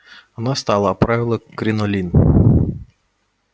она встала оправила кринолин